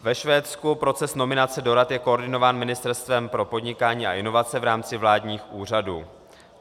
Ve Švédsku proces nominace do rad je koordinován Ministerstvem pro podnikání a inovace v rámci vládních úřadů.